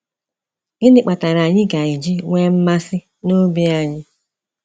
Gịnị kpatara anyị ga eji nwee mmasị nobi anyị?